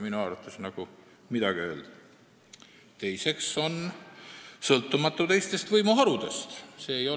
Seega räägiksin rohkem põhiseaduslikust kohtuvõimu ja rahvavõimu suhte tasandist ja pisut läheksin ka Eestist välja, vaataksin rahvusvahelist tasandit samuti.